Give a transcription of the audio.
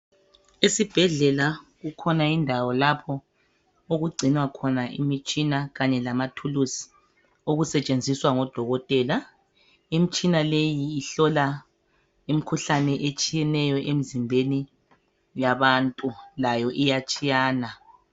Esibhedlela kukhona indawo lapho okugcinwa khona imitshina kanye lamathuluzi okusetshenziswa ngodokotela. Imitshina leyi ihlola imikhuhlane etshiyeneyo emzimbeni yabantu layo iyatshiyana.